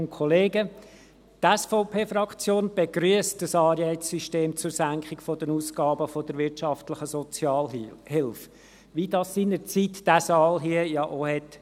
Die SVP-Fraktion begrüsst ein Anreizsystem zur Senkung der Ausgaben der wirtschaftlichen Sozialhilfe, wie das seinerzeit dieser Saal ja auch tat.